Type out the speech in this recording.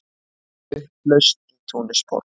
Upplausn í Túnisborg